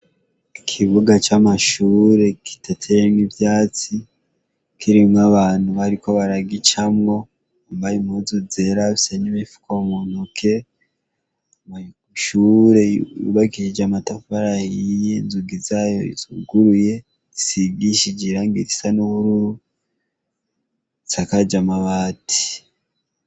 Ikibuga c'amashure kidateyemwo ivyatsi kirimwo abantu bariko baragicamwo bambaye impuzu zera bafise n'imifuka muntoke, ishure yubakishije amatafari ahiye inzugi zayo zuguruye zisigishije irangi risa n'ubururu, isakaje amabati.